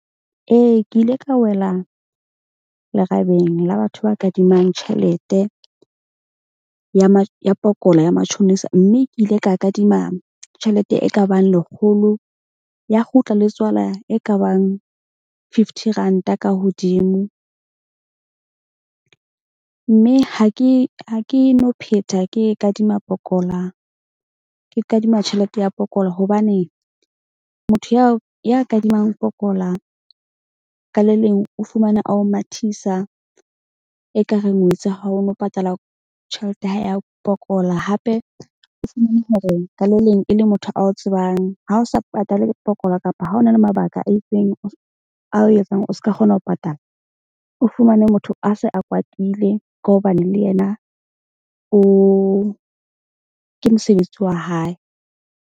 Ee, ke ile ka wela lerabeng la batho ba kadimang tjhelete ya ya pokola ya matjhonisa. Mme ke ile ka kadima tjhelete e kabang lekgolo ya kgutla le tswala e kabang fifty ranta ka hodimo. Mme ha ke no phetha ke e kadima pokola. Ke kadima tjhelete ya pokola hobane motho yao ya kadimang pokola ka le leng o fumane a ho mathisa ekareng, o itse ha o no patala tjhelete ya hae ya pokola. Hape ka le leng e le motho a o tsebang, ha o sa patale pokola kapa ha o na le mabaka a itseng, a o etsang o ska kgona ho patala o fumane motho a se a kwatile ka hobane le yena o ke mosebetsi wa hae.